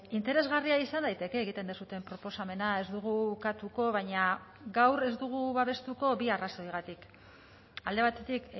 interesgarria izan daiteke egiten duzuen proposamena ez dugu ukatuko baina gaur ez dugu babestuko bi arrazoigatik alde batetik